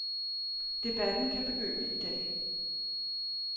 Debatten kan begynde i dag.